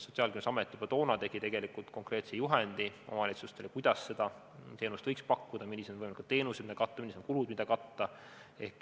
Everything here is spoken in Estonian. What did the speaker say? Sotsiaalkindlustusamet juba toona tegi konkreetse juhendi omavalitsustele, kuidas seda teenust võiks pakkuda, millised on teenused, mida katta, millised on kulud, mida katta.